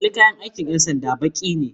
Kalar kayan aikin 'yan sanda baki ne